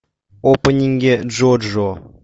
опенинги джоджо